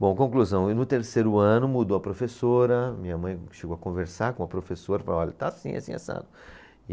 Bom, conclusão, e no terceiro ano mudou a professora, minha mãe chegou a conversar com a professora e falou, olha, está assim, assim e assado